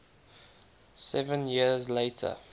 seven years later